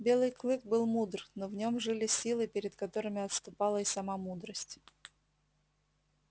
белый клык был мудр но в нём жили силы перед которыми отступала и сама мудрость